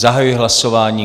Zahajuji hlasování.